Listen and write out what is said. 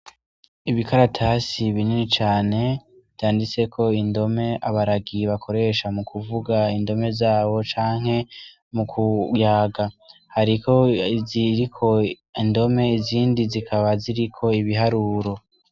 Ibikaratasi binini cane vyanditsek' indom' abaragi bakoresha mukuvug' indome zabo canke mukuyaga, harik' izirik' indome, izindi zikaba zirik' ibiharuro.